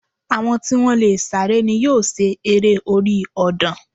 Àwọn tí wọ́n lè sáré ni yóò ṣe eré orí ọ̀dàn